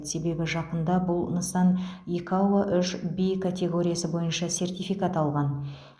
себебі жақында бұл нысан икао үш в катеоргиясы бойынша сертификат алған